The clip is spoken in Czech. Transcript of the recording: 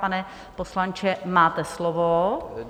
Pane poslanče, máte slovo.